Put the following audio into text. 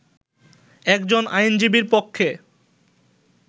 একজন আইনজীবীর কক্ষে